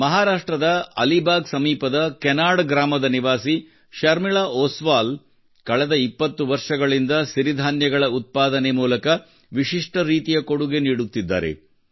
ಮಹಾರಾಷ್ಟ್ರದ ಅಲಿಬಾಗ್ ಸಮೀಪದ ಕೆನಾಡ್ ಗ್ರಾಮದ ನಿವಾಸಿ ಶರ್ಮಿಳಾ ಓಸ್ವಾಲ್ ಕಳೆದ 20 ವರ್ಷಗಳಿಂದ ಸಿರಿಧಾನ್ಯಗಳ ಉತ್ಪಾದನೆ ಮೂಲಕ ವಿಶಿಷ್ಟ ರೀತಿಯ ಕೊಡುಗೆ ನೀಡುತ್ತಿದ್ದಾರೆ